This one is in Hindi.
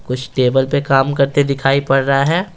कुछ टेबल पे काम करते दिखाई पड़ रहा है।